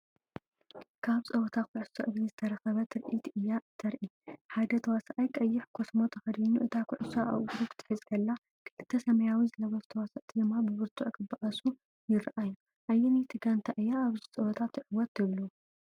ካብ ጸወታ ኩዕሶ እግሪ ዝተረኽበ ትርኢት እያ እተርኢ። ሓደ ተዋሳኣይ ቀይሕ ኮስትሞ ተኸዲኑ እታ ኩዕሶ ኣብ እግሩ ክትሕዝ ከላ፡ ክልተ ሰማያዊ ዝለበሱ ተዋሳእቲ ድማ ብብርቱዕ ክበኣሱ ይረኣዩ። ኣየነይቲ ጋንታ እያ ኣብዚ ጸወታ ትዕወት ትብሉ?